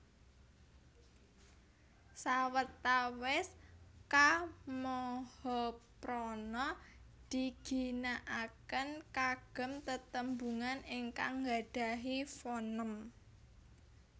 Sawetawis Ka mahaprana diginakaken kagem tetembungan ingkang nggadahi fonem